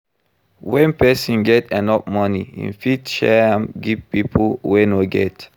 When persin get enough money I'm fit share am give pipo wey no get